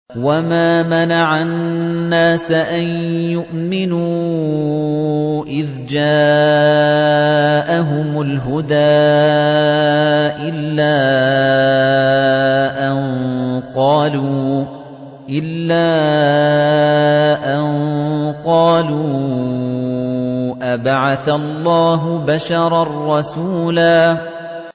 وَمَا مَنَعَ النَّاسَ أَن يُؤْمِنُوا إِذْ جَاءَهُمُ الْهُدَىٰ إِلَّا أَن قَالُوا أَبَعَثَ اللَّهُ بَشَرًا رَّسُولًا